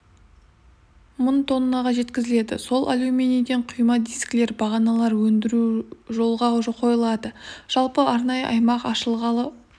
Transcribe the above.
мың тоннаға жеткізіледі сол алюминийден құйма дискілер бағаналар өндіру жолға қойылады жалпы арнайы аймақ ашылғалы